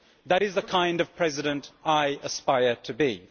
That is the kind of President I aspire to be.